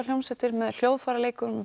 hljómsveitir með hljóðfæraleikurum